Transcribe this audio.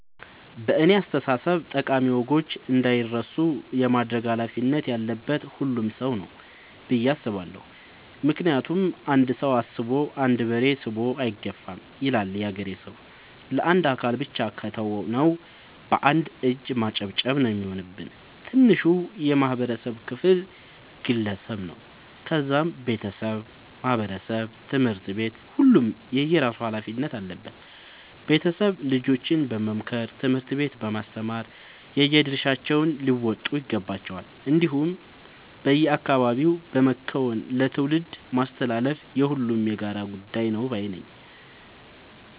በእኔ አስተሳሰብ ጠቃሚ ወጎች እንዳይረሱ የማድረግ ኃላፊነት ያለበት ሁሉም ሰው ነው። ብዬ ነው የማስበው ምክንያቱም "አንድ ሰው አስቦ አንድ በሬ ስቦ አይገፋም " ይላል ያገሬ ሰው። ለአንድ አካል ብቻ ከተው ነው። በአንድ እጅ ማጨብጨብ ነው የሚሆንብን። ትንሹ የማህበረሰብ ክፍል ግለሰብ ነው ከዛም ቤተሰብ ማህበረሰብ ትምህርት ቤት ሁሉም የየራሱ ኃላፊነት አለበት ቤተሰብ ልጆችን በመምከር ትምህርት ቤት በማስተማር የየድርሻቸውን ሊወጡ ይገባቸዋል። እንዲሁም በአካባቢ በመከወን ለትውልድ ማስተላለፍ የሁሉም የጋራ ጉዳይ ነው ባይነኝ።